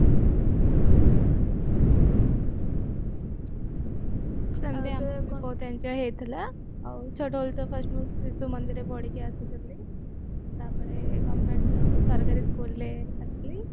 ସେମିତି ଆମର ବି ବହୁତ enjoy ହେଇଥିଲା ଛୋଟବେଳୁ ତ ମୁଁ ଶିଶୁ ମନ୍ଦିରରେ ପଢିକି ଆସିଥିଲି ତାପରେ ଆମେ government ସରକାରୀ school ରେ ଆସିଲି